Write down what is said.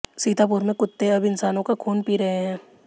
सीतापुर में कुत्ते अब इंसानों का खून पी रहे हैं